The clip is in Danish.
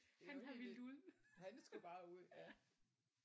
Det var helt vildt. Han skulle bare ud ja